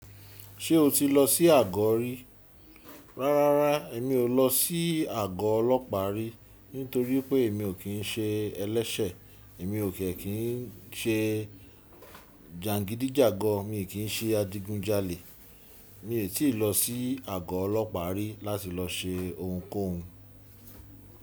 Ṣé o ti lọ sí àgọ rí? Rárá, èmi ò lọ sí àgọ ọlọ́pàá rí. Nítorí pé èmi ò kín ṣe ẹlẹ́ṣẹ̀. Èmi ò kẹ̀ kín ṣe jàgidíjàgan, mi ò kín ṣe adigunjalè. Mi ò tí ì lọ sí àgọ́ ọlọ́pàá rí láti lọ ṣe ohunkóhun.